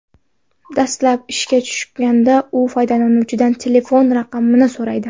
Dastlab ishga tushganida u foydalanuvchidan telefon raqamini so‘raydi.